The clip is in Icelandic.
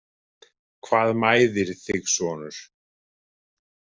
Hvað mæðir þig sonur?